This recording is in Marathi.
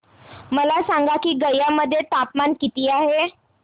मला सांगा की गया मध्ये तापमान किती आहे